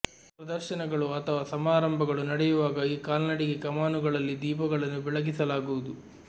ಪ್ರದರ್ಶನಗಳು ಅಥವಾ ಸಮಾರಂಭಗಳು ನಡೆಯುವಾಗ ಈ ಕಾಲ್ನಡಿಗೆ ಕಮಾನುಗಳಲ್ಲಿನ ದೀಪಗಳನ್ನು ಬೆಳಗಿಸಲಾಗುವುದು